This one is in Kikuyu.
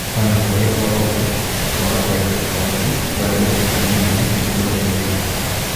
Ona kũrĩ o ũguo, kwaga kũrĩha igoti kwarĩ mũhĩnga mũnene mũtũrire-inĩ wake.